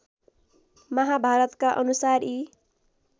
महाभारतका अनुसार यी